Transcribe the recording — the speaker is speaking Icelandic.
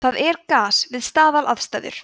það er gas við staðalaðstæður